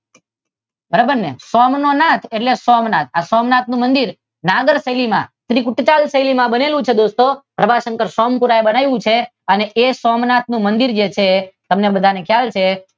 બરાબર ને સૌનો નાથ એટલે સોમનાથ. આ સોમનાથ નું મંદિર નાગર શૈલી માં ત્રિકૂટ શૈલી માં બનેલું છે મિત્રો પ્રભાશંકર સોમપુરા એ બનાવેલું છે. એ સોમનાથ નું મંદિર છે જે તમને બધાને ખ્યાલ છે.